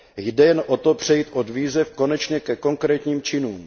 Jde jen o to přejít od výzev konečně ke konkrétním činům.